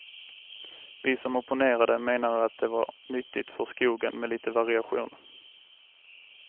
Vi som opponerade menade att det var nyttigt för skogen med lite variation.